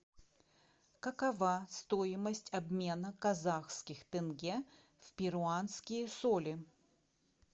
какова стоимость обмена казахских тенге в перуанские соли